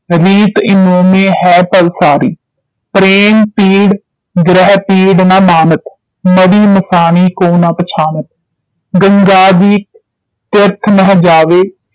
ਰੀਤ ਇਨੋ ਮੈਂ ਹੈ ਭਲਿ ਸਾਰੀ ਪ੍ਰੇਮ ਪੀੜ ਗ੍ਰਹਿ ਪੀੜ ਨ ਮਾਨਤ ਮੜ੍ਹੀ ਮਸਾਣੀ ਕੋ ਨ ਪਛਾਨਤ ਗੰਗਾਦਿਕ ਤੀਰਥ ਨਹਿ ਜਾਵੇ